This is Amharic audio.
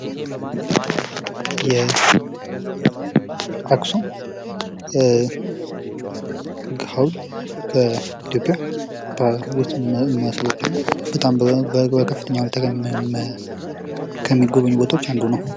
ጉዞ የራስን ነፃነት ያጎናጽፋል። ቱሪዝም የአካባቢ ጥበቃን ማበረታታት አለበት። ስደት የቤተሰብ ትስስርን ሊያጠናክር ወይም ሊያዳክም ይችላል